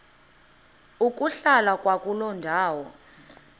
ukuhlala kwakuloo ndawo